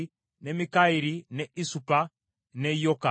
ne Mikayiri, ne Isupa, ne Yoka,